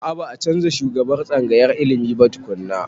A a.ba a canza shugaban tsangayar ilimin ba tukunna.